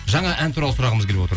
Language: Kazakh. жаңа ән туралы сұрағымыз келіп отыр